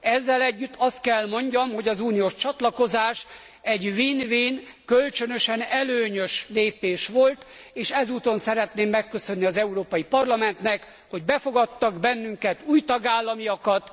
Ezzel együtt azt kell mondjam, hogy az uniós csatlakozás egy win win kölcsönösen előnyös lépés volt, és ezúton szeretném megköszönni az Európai Parlamentnek, hogy befogadtak bennünket, új tagállamokat.